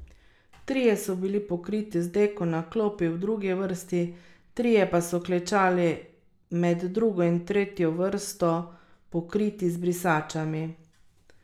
Trije so bili pokriti z deko na klopi v drugi vrsti, trije pa so klečali med drugo in tretjo vrsto, pokriti z brisačami.